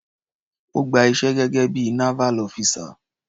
Ó gba iṣẹ́ gẹ́gé bí i naval officer.